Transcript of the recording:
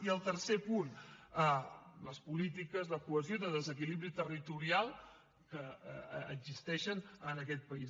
i el tercer punt les polítiques de cohesió i de desequilibri territorial que existeixen en aquest país